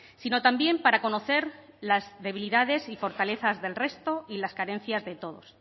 sino también para conocer las debilidades y fortalezas del resto y las carencias de todos